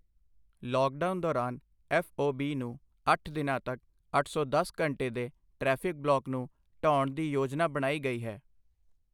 Lockdown ਦੌਰਾਨ F O B ਨੂੰ ਅੱਠ ਦਿਨਾਂ ਤੱਕ ਅੱਠ ਸੌ ਦਸ ਘੰਟੇ ਦੇ ਟਰੈਫਿਕ ਬਲਾਕ ਨੂੰ ਢਹਾਉਣ ਦੀ ਯੋਜਨਾ ਬਣਾਈ ਗਈ ਹੈ।